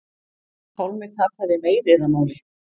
Pálmi tapaði meiðyrðamáli